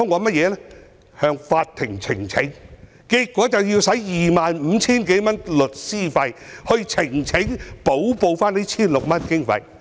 便是向法庭呈請，結果花了 25,000 多元律師費，補報這 1,600 多元的經費。